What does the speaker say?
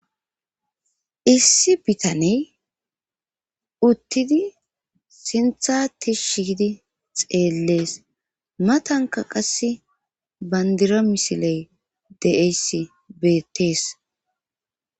issi bitaney uttidi sintha ti shiidi xeellees matanka qasse bandira misiley deeyssi beettees